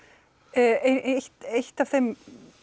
ein af þeim